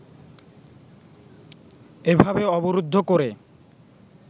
এভাবে অবরুদ্ধ করে